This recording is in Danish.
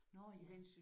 Nåh ja